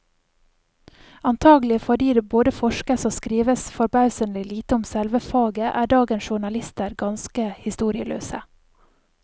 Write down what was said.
Antagelig fordi det både forskes og skrives forbausende lite om selve faget, er dagens journalister ganske historieløse.